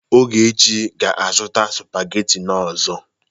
Ogechi ga-azụta sụpagheti ọzọ.